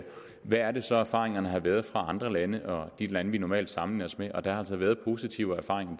hvad er det så erfaringerne har været fra andre lande og de lande vi normalt sammenligner os med og der har altså været positive erfaringer